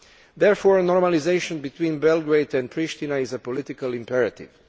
Therefore, normalisation between Belgrade and Pristina is a political imperative.